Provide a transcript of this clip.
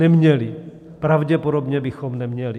Neměli, pravděpodobně bychom neměli.